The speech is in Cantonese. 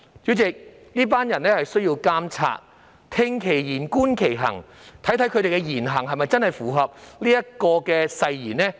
主席，這群人需要監察，聽其言、觀其行，看看他們的言行是否真的符合誓言內容。